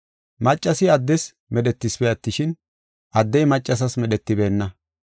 Maccasi addes medhetisipe attishin, addey maccasas medhetibeenna.